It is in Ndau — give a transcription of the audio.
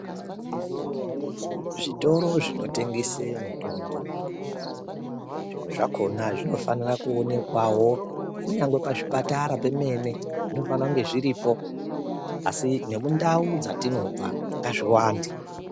Zvitoro zvinotengese mitombo zvimwe zvakona zvinofanire kuonekwawo kunyangwe pazvipatara pemene zvinofanire kunge zviripo asi nemundau dzatinobva ngazviwande .